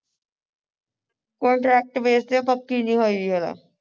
contract base ਤੇ ਪੱਕੀ ਨਹੀਂ ਹੋਈ ਜ਼ਰਾ